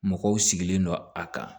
Mɔgɔw sigilen don a kan